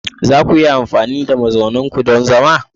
Za ku iya amfani da duwawun ku don zama?